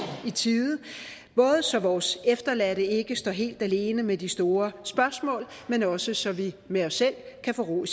i tide både så vores efterladte ikke står helt alene med de store spørgsmål men også så vi med os selv kan få ro i